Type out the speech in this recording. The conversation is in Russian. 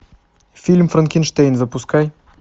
фильм франкенштейн запускай